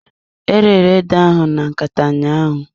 E rere ede ahụ na nkata ụnyaahụ.